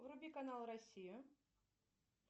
вруби канал россия